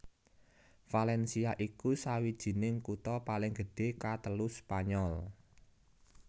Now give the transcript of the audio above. Valencia iku sawijining kutha paling gedhé katelu Spanyol